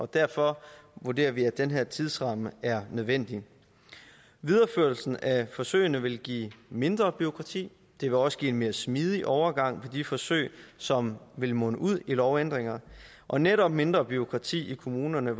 derfor vurderer vi at den her tidsramme er nødvendig videreførelsen af forsøgene vil give mindre bureaukrati det vil også give en mere smidig overgang fra de forsøg som vil munde ud i lovændringer og netop mindre bureaukrati i kommunerne